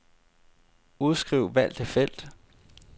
Udskriv valgte felt.